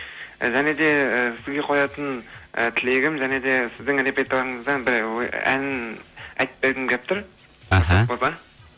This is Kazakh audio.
і және де і сізге қоятын і тілегім және де сіздің репертуарыңыздан бір ән айтып бергім келіп тұр